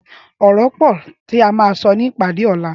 Ọrọ pọ ti à mà sọ ni ipàdé ọlà